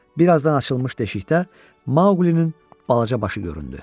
Birazdan açılmış deşikdə Maqlinin balaca başı göründü.